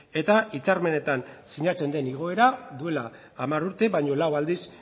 eta hitzarmenetan sinatzen den igoera duela hamar urte baino lau aldiz